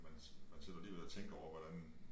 Man man sidder alligevel og tænker over hvordan